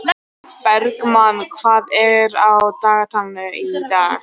Bergmann, hvað er á dagatalinu í dag?